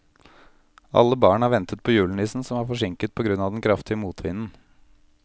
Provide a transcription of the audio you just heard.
Alle barna ventet på julenissen, som var forsinket på grunn av den kraftige motvinden.